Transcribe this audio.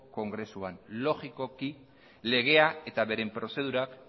kongresuan logikokiko legea eta bere prozedurak